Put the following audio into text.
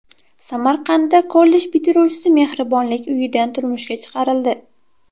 Samarqandda kollej bitiruvchisi mehribonlik uyidan turmushga chiqarildi .